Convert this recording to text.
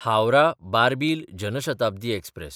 हावराह–बार्बील Jan Shatabdi express